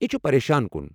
یہ چھ پریشان کُن۔